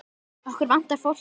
Okkur vantar fólk í vinnu.